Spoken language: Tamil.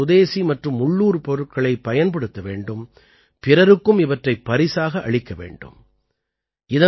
மேலும் இத்தகைய சுதேசி மற்றும் உள்ளூர் பொருட்களைப் பயன்படுத்த வேண்டும் பிறருக்கும் இவற்றைப் பரிசாக அளிக்க வேண்டும்